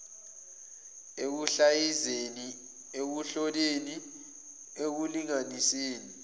ekuhlaziyeni ekuhloleni ekulinganiseni